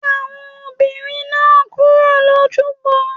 Le àwọn obìnrin náà kúrò l'ojubọ.